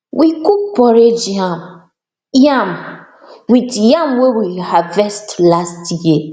we cook porridge yam yam with yam wey we harvest last year